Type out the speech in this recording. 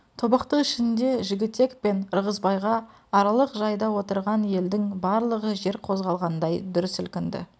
тобықты ішінде жігітек пен ырғызбайға аралық жайда отырған елдің барлығы жер қозғалғандай дүр сілкінді